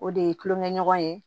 O de ye kulonkɛɲɔgɔn ye